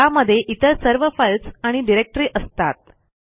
त्यामध्ये इतर सर्व फाईल्स आणि डिरेक्टरी असतात